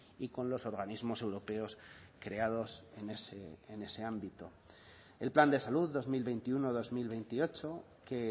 y con los organismos europeos creados en ese ámbito el plan de salud dos mil veintiuno dos mil veintiocho que